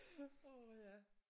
Åh ja